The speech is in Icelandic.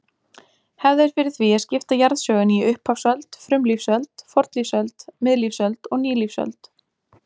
Hefð er fyrir því að skipta jarðsögunni í upphafsöld, frumlífsöld, fornlífsöld, miðlífsöld og nýlífsöld.